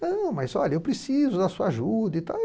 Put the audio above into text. Não, mas olha, eu preciso da sua ajuda e tal.